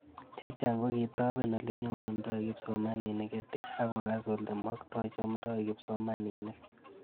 Chechang' ko kitapen ole nyorundoi kipsomanik EdTech ako kas ole maktoi chamdoi kipsomanik